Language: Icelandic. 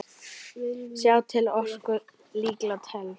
Sá til orku líka telst.